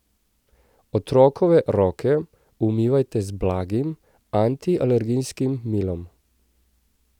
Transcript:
Otrokove roke umivajte z blagim, antialergijskim milom.